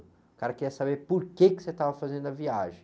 O cara queria saber por que que você estava fazendo a viagem.